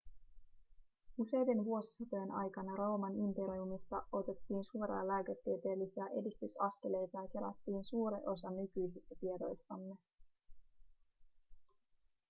useiden vuosisatojen aikana rooman imperiumissa otettiin suuria lääketieteellisiä edistysaskeleita ja kerättiin suuri osa nykyisistä tiedoistamme